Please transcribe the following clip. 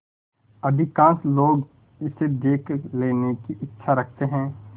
अधिकांश लोग इसे देख लेने की इच्छा रखते हैं